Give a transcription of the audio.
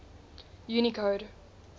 unicode